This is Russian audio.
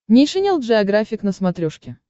нейшенел джеографик на смотрешке